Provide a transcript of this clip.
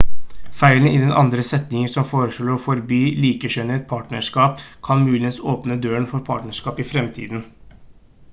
feilen i den andre setningen som foreslår å forby likekjønnet partnerskap kan muligens åpne døren for partnerskap i fremtiden